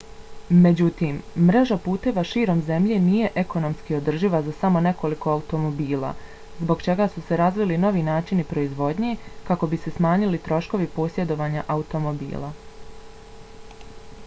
međutim mreža puteva širom zemlje nije ekonomski održiva za samo nekoliko automobila zbog čega su se razvili novi načini proizvodnje kako bi se smanjili troškovi posjedovanja automobila